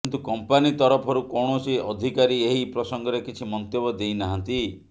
କିନ୍ତୁ କମ୍ପାନୀ ତରଫରୁ କୌଣସୀ ଅଧିକାରୀ ଏହି ପ୍ରସଙ୍ଗରେ କିଛି ମନ୍ତବ୍ୟ ଦେଇ ନାହାନ୍ତି